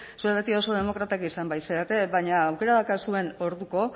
zuek beti oso demokratak izan bait zarete baina aukera daukazuen orduko